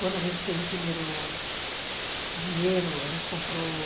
Quando a gente teve o primeiro dinheiro, a gente comprou...